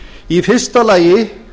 í fyrsta lagi